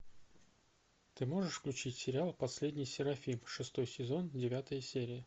ты можешь включить сериал последний серафим шестой сезон девятая серия